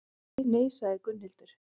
Nei, sagði Gunnhildur.